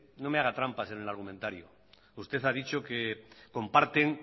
no me haga trampas en el argumentario usted ha dicho que comparten